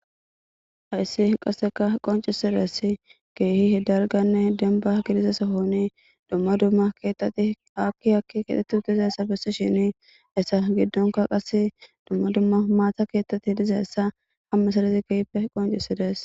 Haysi qaseka qonc'isizaysi kehi dalgane demba gidiza Sohon duma duma kethati haki haki kexeti utidaysi betisheni haysa gidonka qasi duma duma mata kethati dizaysa ha meserete kehipe qonc'isides.